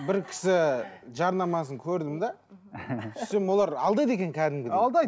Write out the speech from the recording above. бір кісі жарнамасын көрдім де сөйтсем олар алдайды екен кәдімгідей алдайды